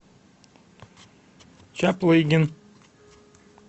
чаплыгин